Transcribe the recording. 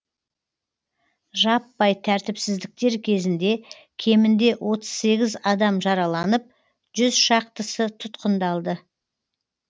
жаппай тәртіпсіздіктер кезінде кемінде отыз сегіз адам жараланып жүз шақтысы тұтқындалды